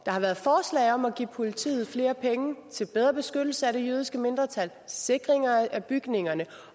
har været forslag om at give politiet flere penge til bedre beskyttelse af det jødiske mindretal sikring af bygningerne